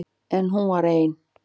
En hún var ein.